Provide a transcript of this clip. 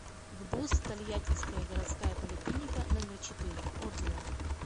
гбуз тольяттинская городская поликлиника номер четыре отзывы